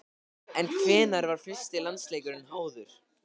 En hvenær var fyrsti landsleikurinn háður?